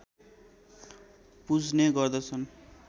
पुज्ने गर्दछन्